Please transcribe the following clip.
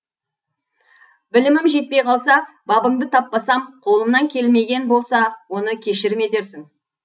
білімім жетпей қалса бабыңды таппасам қолымнан келмеген болса оны кешірім етерсің